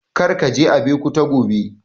Kar ka je Abeokuta gobe!